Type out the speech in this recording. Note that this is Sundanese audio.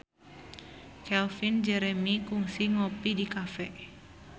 Calvin Jeremy kungsi ngopi di cafe